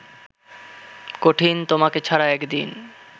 কঠিন তোমাকে ছাড়া একদিন